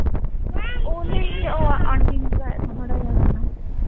ਓਹ ਨਹੀਂ aunty ਨੇ ਬੁਲਾਇਆ ਥਾ ਮਾੜਾ ਜੇਹਾ ਮੈਂਨੂੰ